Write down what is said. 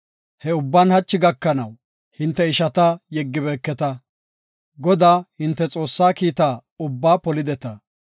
He ubban hachi gakanaw hinte ishata yeggibeeketa. Godaa, hinte Xoossaa kiitta ubbaa polideta.